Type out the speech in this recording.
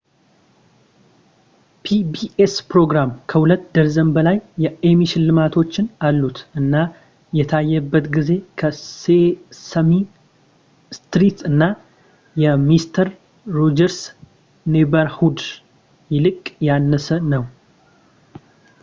pbs ፕሮግራም ከሁለት ደርዘን በላይ የኤሚ ሽልማቶች አሉት እና የታየበት ጊዜ ከሴሰሚ ስትሪት እና የሚስተር ሮጀርስ ኔይበርሁድ ይልቅ ያነሰ ነው